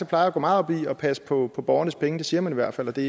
plejer at gå meget op i at passe på borgernes penge det siger man i hvert fald og det